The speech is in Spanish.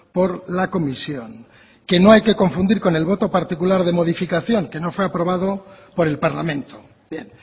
por la comisión que no hay que confundir con el voto particular de modificación que no fue aprobado por el parlamento bien